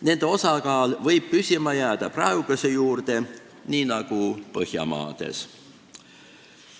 Nende osakaal võiks püsima jääda praeguse taseme juurde, nii nagu on Põhjamaades.